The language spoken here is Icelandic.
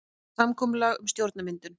Samkomulag um stjórnarmyndun